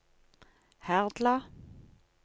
Herdla